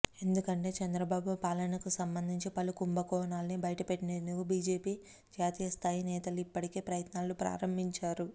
ఎందుకంటే చంద్రబాబు పాలనకు సంబంధించి పలు కుంభకోణాల్ని బయటపెట్టేందుకు బీజేపీ జాతీయస్థాయి నేతలు ఇప్పటికే ప్రయత్నాలు ప్రారంభించారు